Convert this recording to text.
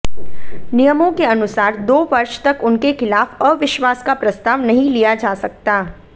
नियमों के अनुसार दो वर्ष तक उनके खिलाफ अविश्वास का प्रस्ताव नहीं लिया जा सकता